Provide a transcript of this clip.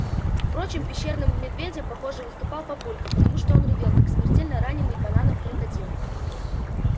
впрочем пещерным медведем похоже выступал папулька потому что он ревел как смертельно раненый бананом крокодил